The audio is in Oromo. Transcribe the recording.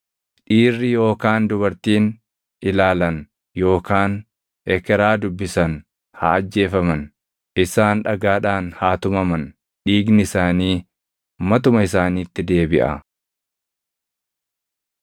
“ ‘Dhiirri yookaan dubartiin ilaalan yookaan ekeraa dubbisan haa ajjeefaman. Isaan dhagaadhaan haa tumaman; dhiigni isaanii matuma isaaniitti deebiʼa.’ ”